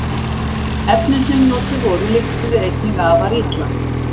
Efnin sem notuð voru lyktuðu einnig afar illa.